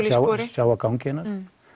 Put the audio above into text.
sjá sjá á ganginum